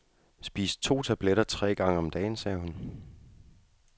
Spis to tabletter tre gange om dagen, sagde hun.